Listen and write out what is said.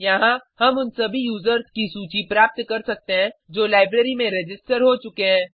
यहाँ हम उन सभी यूज़र्स की सूची प्राप्त कर सकते हैं जो लाइब्रेरी में रजिस्टर हो चुके हैं